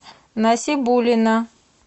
насибуллина